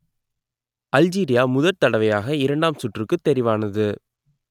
Algeria முதற்தடவையாக இரண்டாம் சுற்றுக்குத் தெரிவானது